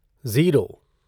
zero